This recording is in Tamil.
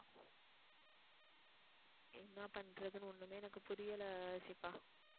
என்ன பண்றதுன்னு ஒண்ணுமே எனக்கு புரியல ஷிபா